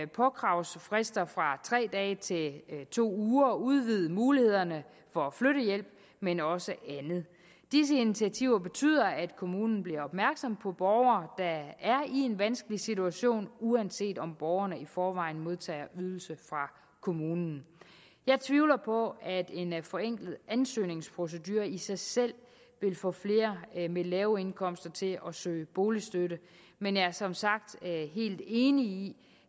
påkravsfrister fra tre dage til to uger og udvidelse af mulighederne for flyttehjælp men også andet disse initiativer betyder at kommunen bliver opmærksom på borgere der er i en vanskelig situation uanset om borgerne i forvejen modtager ydelser fra kommunen jeg tvivler på at en forenklet ansøgningsprocedure i sig selv vil få flere med lave indkomster til at søge boligstøtte men jeg er som sagt helt enig i